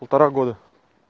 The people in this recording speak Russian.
полтора года